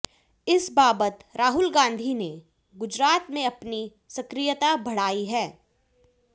इस बाबत राहुल गांधी ने गुजरात में अपनी सक्रियता बढ़ाई है